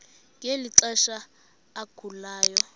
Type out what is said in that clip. ngeli xesha agulayo